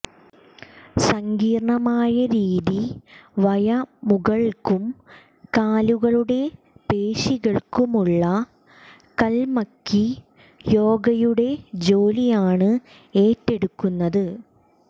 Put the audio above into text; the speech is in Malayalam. സങ്കീർണ്ണമായ രീതി വയമുകൾക്കും കാലുകളുടെ പേശികൾക്കുമുള്ള കൽമക്കി യോഗയുടെ ജോലിയാണ് ഏറ്റെടുക്കുന്നത്